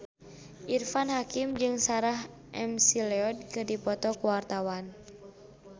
Irfan Hakim jeung Sarah McLeod keur dipoto ku wartawan